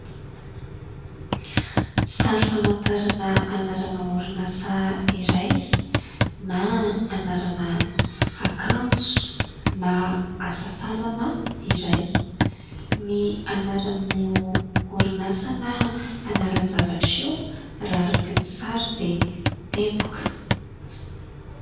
Sary famantarana anarana orinasa iray na anarana akanjo na asatanana iray. Ny anaran'io orinasa na anaran-javatra io raha araky ny sary dia "teboka".